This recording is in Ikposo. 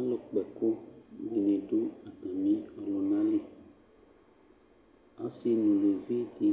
Alʋkpa ɛkʋ dɩnɩ dʋ atamɩ ɔlʋna li Ɔsɩ nʋ uluvi dɩ